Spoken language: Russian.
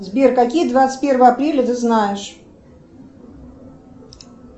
сбер какие двадцать первое апреля ты знаешь